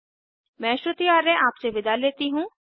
मैं श्रुति आर्य आपसे विदा लेती हूँ